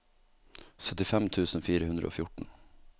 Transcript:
syttifem tusen fire hundre og fjorten